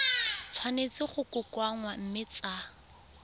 tshwanetse go kokoanngwa mme tsa